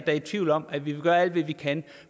er i tvivl om at vi vil gøre alt hvad vi kan